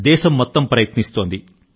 దేశం మొత్తం ప్రయత్నిస్తోంది